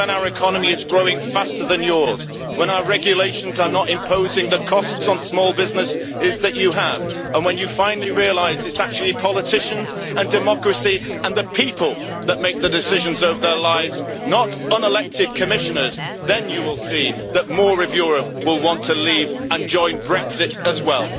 Because when our economy is growing faster than yours, when our regulations are not imposing costs on the small businesses that you have, and when you finally realise that it is politicians and democracy and the people that make the decisions over their lives, not unelected Commissioners, then you will see that more of Europe will want to leave and join Brexit as well.